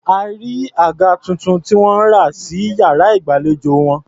A rí àga tuntun tí wọ́n rà sí iyàrá ìgbàlejò wọn.